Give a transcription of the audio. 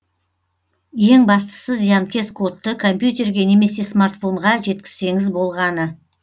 ең бастысы зиянкес кодты компьютерге немесе смартфонға жеткізсеңіз болғаны